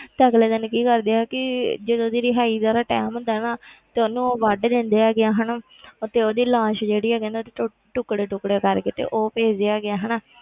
ਤਾਂ ਅਗਲੇ ਦਿਨ ਕੀ ਕਰਦੇ ਆ ਕਿ ਜਦੋਂ ਉਹਦੀ ਰਿਹਾਈ ਦਾ ਉਹਦਾ time ਹੁੰਦਾ ਨਾ ਤੇ ਉਹਨੂੰ ਵੱਢ ਦਿੰਦੇ ਹੈਗੇ ਆ ਹਨਾ ਤੇ ਉਹਦੀ ਲਾਸ਼ ਜਿਹੜੀ ਆ ਕਹਿੰਦੇ ਉਹਦੇ ਟੋ~ ਟੁਕੜੇ ਟੁਕੜੇ ਕਰਕੇ ਤੇ ਉਹ ਭੇਜਦੇ ਹੈਗੇ ਆ ਹਨਾ,